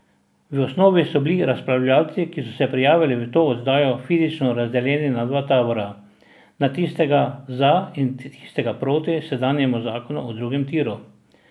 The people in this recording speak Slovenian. V osnovi so bili razpravljalci, ki so se prijavili v to oddajo, fizično razdeljeni na dva tabora, na tistega za in tistega proti sedanjemu zakonu o drugem tiru.